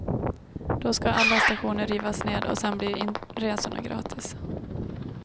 Då skall alla stationer rivas ned och sen blir inresorna gratis.